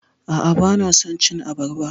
A'a, bana son cin abarba.